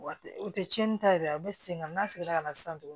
U tɛ tiɲɛni ta yɛrɛ u bɛ segin ka na n'a ye ka na sisan tuguni